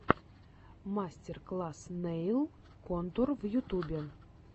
мастер класс нэйл контур в ютюбе